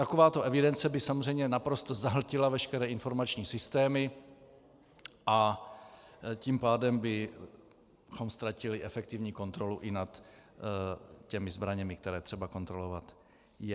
Takováto evidence by samozřejmě naprosto zahltila veškeré informační systémy, a tím pádem bychom ztratili efektivní kontrolu i nad těmi zbraněmi, které třeba kontrolovat je.